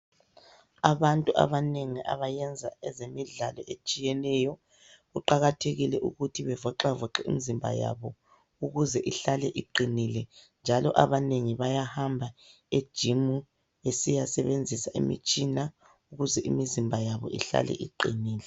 Abantu abanengi abayenza ezemidlalo etshiyeneyo. Kuqakathekile ukuthi bevoxavoxe imizimba yabo ukuze ihlale iqinile, njalo abanengi bayahamba ejimu besiyasebenzisa imitshina ukuze imizimba yabo ihlale iqinile.